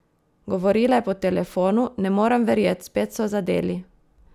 Govorila je po telefonu: "Ne morem verjeti, spet so zadeli.